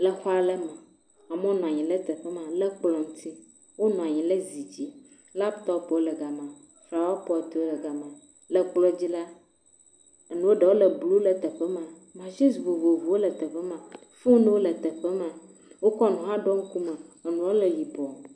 Le aɖe me. Amewo nɔ anyi ɖe teƒe ma le kplɔ ŋuti. Wonɔ anyi ɖe zi dzi. Laptɔpwo le ga ma. Flawapɔtwo le ga ma. Le kplɔ dzi la nu ɖewo le blu le teƒe ma. Masini vovovowo le teƒe ma, foniwo le teƒe ma. Wokɔ nu hã ɖɔ ŋkume. Enua le yibɔ.